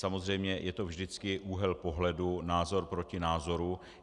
Samozřejmě je to vždycky úhel pohledu, názor proti názoru.